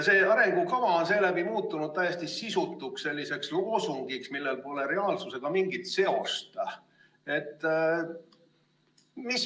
See arengukava on seeläbi muutunud täiesti sisutuks loosungiks, millel pole reaalsusega mingit seost.